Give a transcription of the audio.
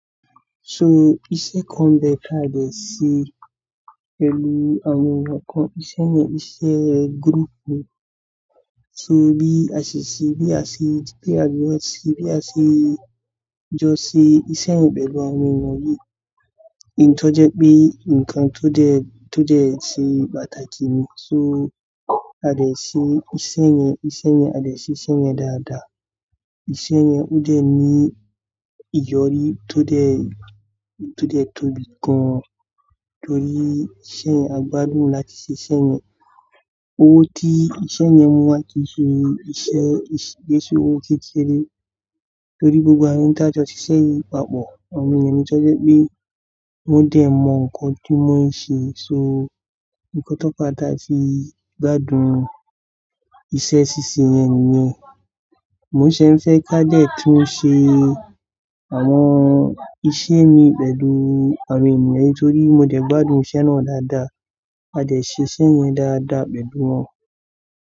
So iṣẹ́ kan bẹ́ẹ̀ ká dẹ̀ ṣe pẹ̀lú àwọn ènìyàn kan, iṣẹ́ yẹn iṣẹ́ group ni. Se bí a ṣe ṣe é, bí a ṣe lé a jọ sí, bí a ṣe jọ sí iṣẹ́ yẹn pẹ̀lú àwọn ènìyàn yìí. Ǹtọ́ jẹ́ pé nǹkan tó dẹ̀, tó dẹ̀ ṣe pàtàkì ni. So a dẹ̀ ṣe iṣẹ́ yẹn, iṣẹ́ yẹn a dẹ̀ ṣe iṣẹ́ yẹn dáadáa. Iṣẹ́ yẹn ó dẹ̀ ní ìyọrí tó dẹ̀, tó dẹ̀ tóbi gan-an torí iṣẹ́ yẹn, a gbádùn láti ṣe iṣẹ́ yẹn. Owó tí iṣẹ́ yẹn mú wá kì í ṣe ìṣe, kì í ṣe owó kékeré torí gbogbo àyè tí a jọ ṣiṣẹ́ yìí papọ̀, àwọn ènìyàn ni tọ́ jẹ́ pé wọ́n dẹ̀ mọ nǹkan tí wọ́n ṣe. So nǹkan tó pátápátá fi gbádùn iṣẹ́ ṣíṣe yẹn nìyẹn. Mo ṣé ń fẹ́ ká dẹ̀ tún ṣe àwọn iṣẹ́ mi pẹ̀lú àwọn ènìyàn nítorí mo dẹ̀ gbádùn iṣẹ́ náà dáadáa. A dẹ̀ ṣe iṣẹ́ yẹn dáadáa pẹ̀lú wọn.